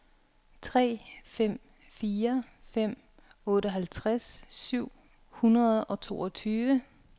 tre fem fire fem otteoghalvtreds syv hundrede og toogtyve